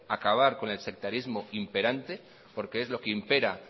porque es lo que impera